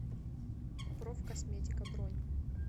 профкосметика бронь